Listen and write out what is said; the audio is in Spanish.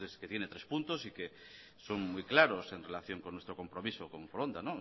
que tiene tres puntos y que son muy claros en relación con nuestro compromiso con foronda